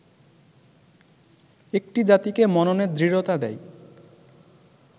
একটি জাতিকে মননের দৃঢ়তা দেয়